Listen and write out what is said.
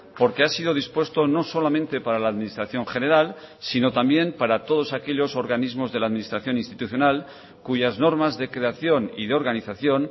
porque ha sido dispuesto no solamente para la administración general sino también para todos aquellos organismos de la administración institucional cuyas normas de creación y de organización